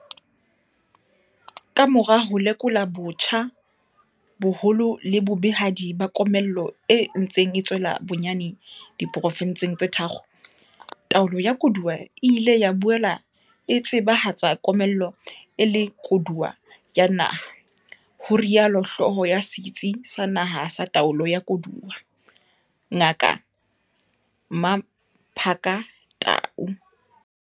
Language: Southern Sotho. Ka mora ho lekola botjha boholo le bobehadi ba komello e ntseng e tswella bonyane di porofenseng tse tharo, taolo ya koduwa e ile ya boela e tseba hatsa komello e le koduwo ya naha, ho rialo hlooho ya Setsi sa Naha sa Taolo ya Koduwa, Ngaka Mmaphaka Tau.